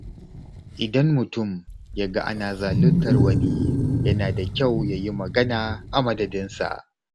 Idan mutum ya ga ana zaluntar wani, yana da kyau ya yi magana a madadinsa.